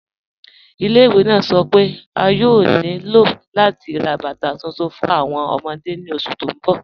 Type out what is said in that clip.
Ilẹ̀-ìwé naa sọ́ pe a yòò ní ilò lati rá bátà tuntun fún awọn ọmọdé ni oṣù tí n bọ̀.